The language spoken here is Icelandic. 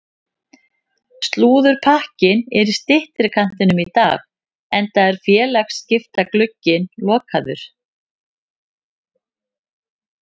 Slúðurpakkinn er í styttri kantinum í dag enda er félagaskiptaglugginn lokaður.